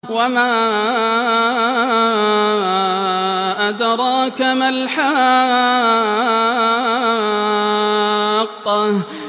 وَمَا أَدْرَاكَ مَا الْحَاقَّةُ